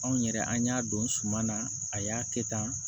Anw yɛrɛ an y'a don suma na a y'a kɛ tan